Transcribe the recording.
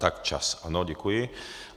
Tak čas, ano, děkuji.